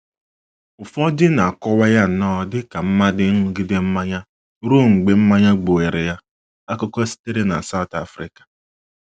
Ụfọdụ na - akọwa ya nnọọ dị ka mmadụ ịṅụgide mmanya ruo mgbe mmanya gbuwere ya. Akụkọ sitere na South Africa